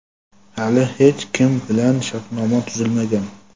Hali hech kim bilan shartnoma tuzilmagan.